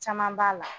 Caman b'a la